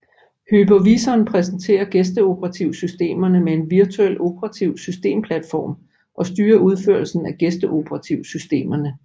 Hypervisoren præsenterer gæsteoperativsystemerne med en virtuel operativsystemplatform og styrer udførelsen af gæsteoperativsystemerne